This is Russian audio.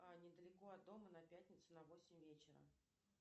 а недалеко от дома на пятницу на восемь вечера